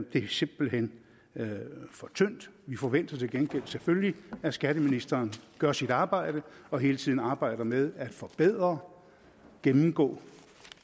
det er simpelt hen for tyndt vi forventer til gengæld selvfølgelig at skatteministeren gør sit arbejde og hele tiden arbejder med at forbedre gennemgå og